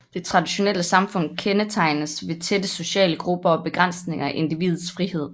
Det traditionelle samfund kendes tegnes ved tætte sociale grupper og begrænsninger af individets frihed